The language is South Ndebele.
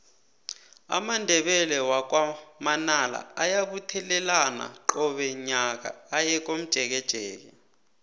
amandebele wakwa manala ayabuthelana qobe nyaka aye komjekejeke